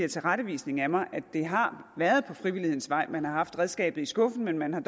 tilrettevisning af mig at det har været ad frivillighedens vej man har haft redskabet i skuffen men man har